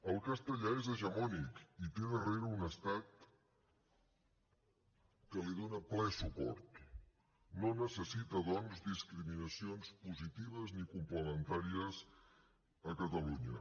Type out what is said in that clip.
el castellà és hegemònic i té darrere un estat que li dona ple suport no necessita doncs discriminacions positives ni complementàries a catalunya